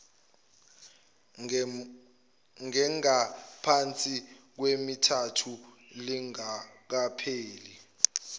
engengaphansi kwemithathu lingakapheli